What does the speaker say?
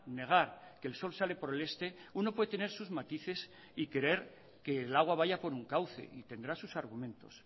negar que el sol sale por el este uno puede tener sus matices y creer que el agua vaya por un cauce y tendrá sus argumentos